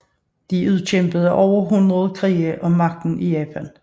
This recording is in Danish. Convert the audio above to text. De udkæmpede over hundrede krige om magten i Japan